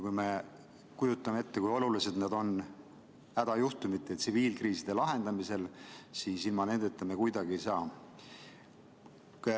Kui me kujutame ette, kui olulised nad on hädajuhtumite, tsiviilkriiside lahendamisel, siis ilma nendeta me kuidagi ei saa.